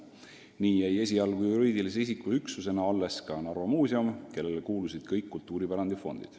Nii jäi esialgu juriidilise üksusena alles ka Narva Muuseum, kellele kuulusid kõik kultuuripärandi fondid.